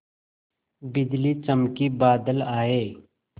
बिजली चमकी बादल आए